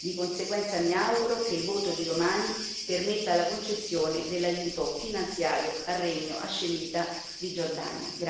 Di conseguenza, mi auguro che il voto di domani permetta la concessione dell'aiuto finanziario al Regno hascemita di Giordania.